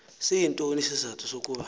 siyintoni isizathu sokuba